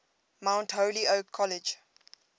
mount holyoke college